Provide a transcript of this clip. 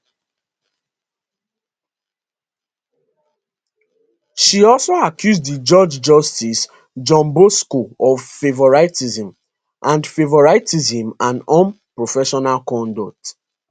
she also accuse di judge justice john bosco of favouritism and favouritism and unprofessional conduct